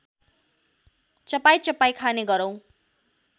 चपाईचपाई खाने गरौँ